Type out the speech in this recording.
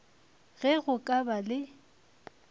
ge go ka ba le